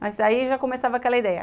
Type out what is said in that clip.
Mas aí já começava aquela ideia.